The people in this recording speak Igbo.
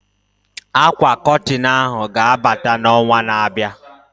Akwa Kọtịn ahụ ga-abata na onwa na abịa